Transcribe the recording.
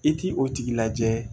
I t'i o tigi lajɛ